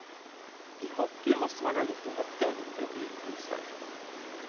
I hockey måste man ha gjort nåt dumt för att bli utvisad.